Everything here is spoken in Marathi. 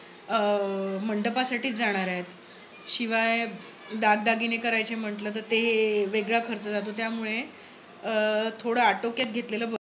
अं मंडपासाठीच जाणार आहेत. शिवाय दागदागिने करायचे म्हंटल तर ते वेगळा खर्च जातो. त्यामुळे थोड आटोक्यात घेतलेले बरे